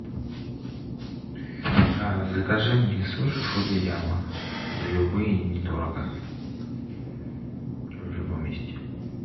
закажи мне суши фудзияма любые недорого в любом месте